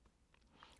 DR K